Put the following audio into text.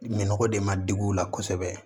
Minɔgɔ de ma digi u la kosɛbɛ